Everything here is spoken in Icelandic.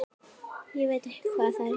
Ég veit hvað það heitir